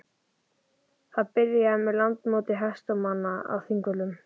Það byrjaði með Landsmóti hestamanna á Þingvöllum.